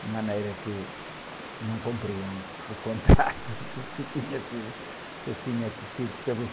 De maneira que não cumpriram o contrato que, que tinha sido, que tinha sido